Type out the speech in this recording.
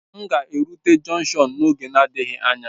M ga erụte jọnkshọn n'oge na-adịghị anya